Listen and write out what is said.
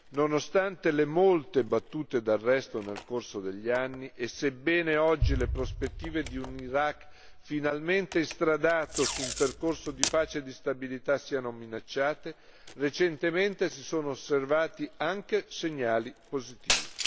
Nonostante le molte battute d'arresto nel corso degli anni e sebbene oggi le prospettive di un Iraq finalmente instradato su un percorso di pace e di stabilità siano minacciate, recentemente si sono osservati anche segnali positivi.